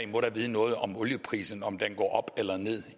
må vide noget om olieprisen om den går op eller ned